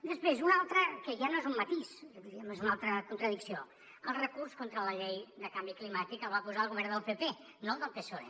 després una altra que ja no és un matís diríem que és una altra contradicció el recurs contra la llei de canvi climàtic el va posar el govern del pp no el del psoe